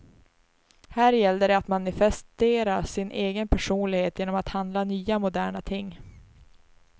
Här gällde det att manifestera sin egen personlighet genom att handla nya, moderna ting.